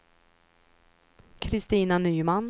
Kristina Nyman